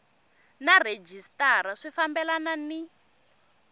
na rhejisitara swi fambelani ni